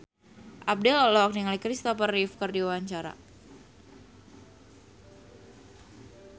Abdel olohok ningali Kristopher Reeve keur diwawancara